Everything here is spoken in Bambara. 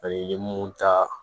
i ye mun ta